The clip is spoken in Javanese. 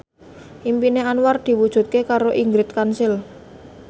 impine Anwar diwujudke karo Ingrid Kansil